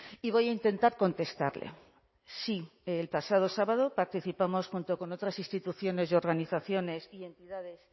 y voy a intentar contestarle sí el pasado sábado participamos junto con otras instituciones y organizaciones y entidades